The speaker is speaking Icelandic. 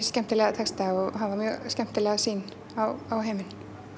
skemmtilega texta og hafa mjög skemmtilega sýn á heiminn